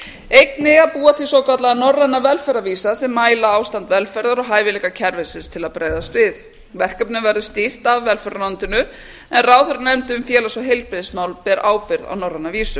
einnig að búa til svokallaða norræna velferðarvísa sem mæla ástand velferðar og hæfileika kerfisins til að bregðast við verkefninu verður stýrt af velferðarráðuneytinu en ráðherranefnd um félags og heilbrigðismál ber ábyrgð á norræna vísu